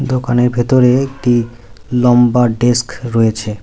দোকানের ভেতরে একটি লম্বা ডেস্ক রয়েছে।